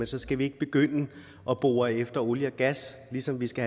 så skal vi ikke begynde at bore efter olie og gas og ligesom vi skal